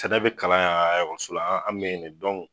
kada bɛ kalan a ekɔliso la an bɛ yen ne dɔn.